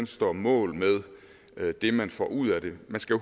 står mål med med det man får ud af det man skal